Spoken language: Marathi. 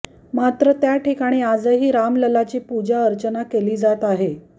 मात्र त्या ठिकाणी आजही राम ललाची पूजा अर्चना केली जात आहे